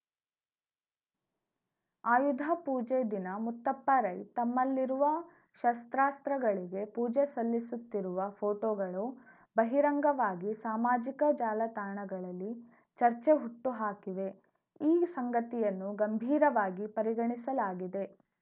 ಆಯುಧ ಪೂಜೆ ದಿನ ಮುತ್ತಪ್ಪ ರೈ ತಮ್ಮಲ್ಲಿರುವ ಶಸ್ತ್ರಾಸ್ತ್ರಗಳಿಗೆ ಪೂಜೆ ಸಲ್ಲಿಸುತ್ತಿರುವ ಪೋಟೋಗಳು ಬಹಿರಂಗವಾಗಿ ಸಾಮಾಜಿಕ ಜಾಲ ತಾಣಗಳಲ್ಲಿ ಚರ್ಚೆ ಹುಟ್ಟುಹಾಕಿವೆ ಈ ಸಂಗತಿಯನ್ನು ಗಂಭೀರವಾಗಿ ಪರಿಗಣಿಸಲಾಗಿದೆ